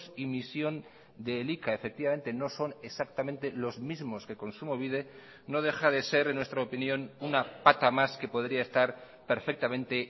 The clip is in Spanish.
y misión de elika efectivamente no son exactamente los mismos que kontsumobide no deja de ser en nuestra opinión una pata más que podría estar perfectamente